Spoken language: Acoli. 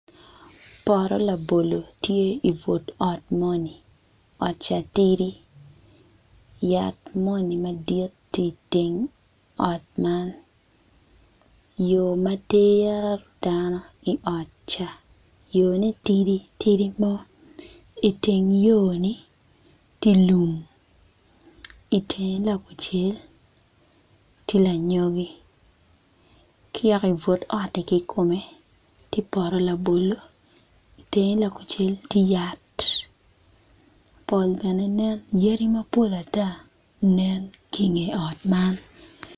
Pot labolo tye ibut ot moni ot ca tidi yat moni madit tye iteng ot man yo ma tero dano i ot ca yone tidi tidi mo iteng yo-ni tye lum itenge lakucel tye lanyogi ka yaka i but oti kikome tye poto labolo i tenge lakucel tye yat pol bene nen yadi mapol ata nen ki inge ot man.